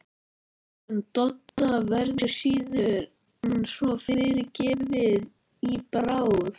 En Dodda verður síður en svo fyrirgefið í bráð!